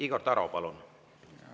Igor Taro, palun!